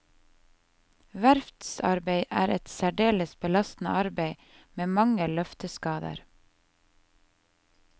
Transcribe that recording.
Verftsarbeid er et særdeles belastende arbeid, med mange løfteskader.